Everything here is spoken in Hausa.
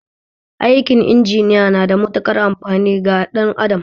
Aikin inginiya na da matuƙar amfani ga ɗan adam